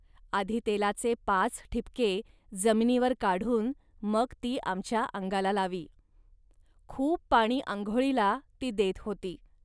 आधी तेलाचे पाच ठिपके जमिनीवर काढून मग ती आमच्या अंगाला लावी. खूप पाणी आंघोळीला ती देत होती